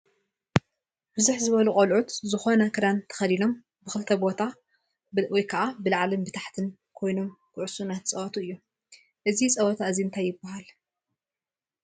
ብዝሕ ዝበሉ ቆልዑት ዝኮነ ክዳኖም ተከዲኖም ብክልተ ቦታ /ብላዕልን ታሕትን / ኮይኖም ኩዕሶ እናትፃወአቱ እዮም። እዚ ፀውታ እዚ እንታይ ይንሃል ?